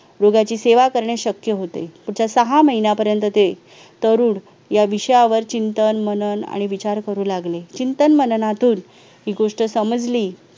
रोगाची सेवा करणे शक्य होते त्याचा सहा महिन्यापर्यंत ते तरुण या विषयावर चिंतन मनन आणि विचार करू लागले चिंतन मननातून ही गोष्ट समजली